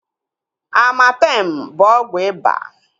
Amartem bụ ọgwụ iba